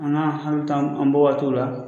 A n'an an bɔ waati la